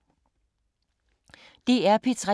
DR P3